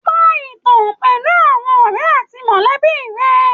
Pa ìtàn pẹ̀lú àwọn ọ̀rẹ àti mọ̀lẹ́bí rẹ.